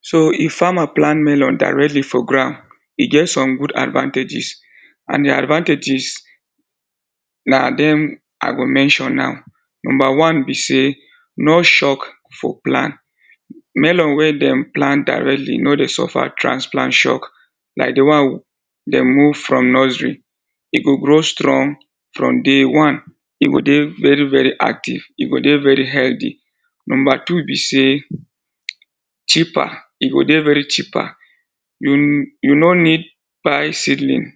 So if farmer plant melon directly for ground, e get some good advantages and the advantages na dem I go mention now. Number one be say no shock for plant. Melon wey dem plant directly no dey suffer transplant shock like the one dem move from nursery. E go grow strong from day one. E go dey very very active, e go dey very healthy. Number two be say cheaper, e go dey very cheaper. You, you no need buy seedling,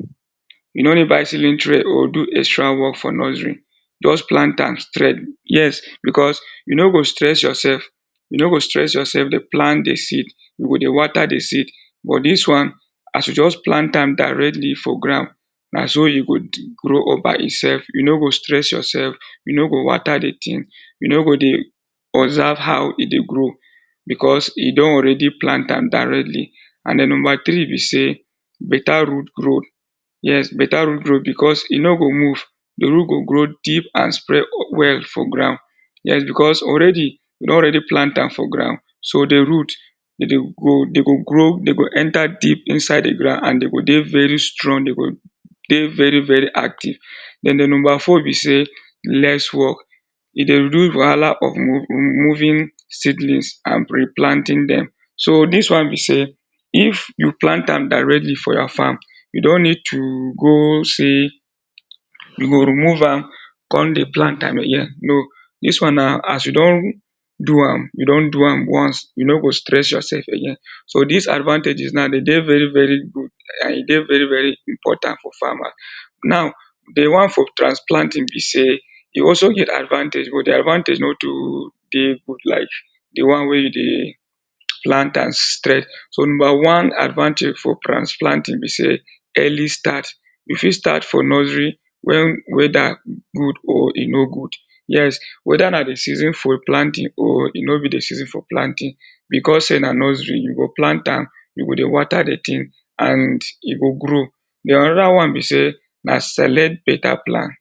you no need buy seedling tray do extra work for nursery, just plant am straight. Yes, because you no go stress yourself. You no go stress yourself dey plant the seed, you go dey water the seed but dis one as you just plant am directly for ground na so e go grow up by itself. You no go stress yourself, you no go water the thing. You no go dey observe how e dey grow because e don already plant am directly and den number three be say better root grow. Yes better root grow because e no go move. The root go grow deep and spread well for ground. Yes because already you don already plant am for ground so the root dey go grow dey go enter deep inside the ground and dey go strong, dey go dey very very active. Den the number four be say less work. E dey remove wahala of moving seedlings and replanting dem. So dis one be say if you plant am directly for your farm you don't need to go say you go remove am come dey plant am again, no. Dis one na as you don do am, you don am once. You no go stress yourself again. So dis advantages now dey dey very very good and e dey very very important for farmer. Now, the one for transplanting be say e also get advantage but the advantage no too dey like the one wey you dey plant am straight. So number one advantage for transplanting be say early start. You fit start for nursery wen whether good or e no good. Yes, whether na the season for planting or e no be the season for planting because say na nursery you go plant am, you go dey water the thing and e go grow. Den another one be say na select better plant.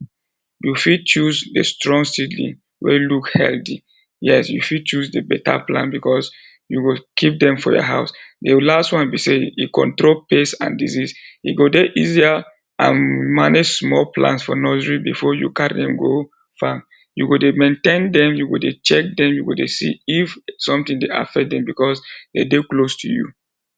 You fit choose a strong seedling wey look healthy. Yes you fit choose better plant because you go keep dem for your house. The last one be say e control pest and disease. E go dey easier and manage small plants for nursery before you carry dem go farm. You go dey maintain dem, you go dey check dem, you go dey see if something dey affect dem because dey dey close to you.